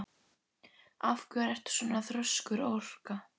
Af hverju ertu svona þrjóskur, Orka?